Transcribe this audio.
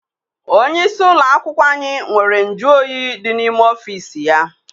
Onye isi ụlọakwụkwọ anyị nwere nju oyi dị n'ime ọfịịsi ya.